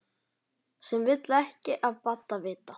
Sem vill ekki af Badda vita.